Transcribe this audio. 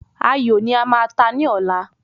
Ayò ní a máa ta ní ọ̀la